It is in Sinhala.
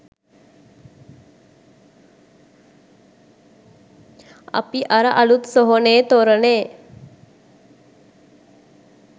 අපි අර අලුත් සොහොනේ තොරණේ